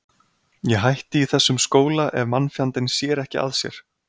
Ég hætti í þessum skóla ef mannfjandinn sér ekki að sér.